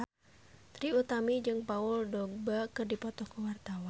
Trie Utami jeung Paul Dogba keur dipoto ku wartawan